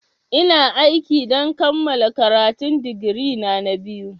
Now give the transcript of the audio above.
Ina aiki don kammala karatun digiri na biyu na.